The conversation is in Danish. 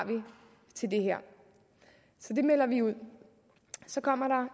til det her det melder vi ud så kommer